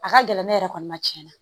A ka gɛlɛn ne yɛrɛ kɔni ma tiɲɛ na